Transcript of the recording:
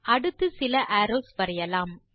அடுத்து சில அரோவ்ஸ் வரையலாம்